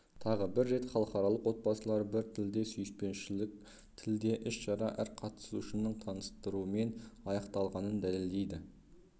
тағы бір рет халықаралық отбасылар бір тілде сүйіспеншілік тілде іс-шара әр қатысушының таныстыруымен аяқталғанын дәлелдейді